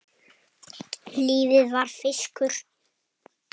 Lífið var fiskur.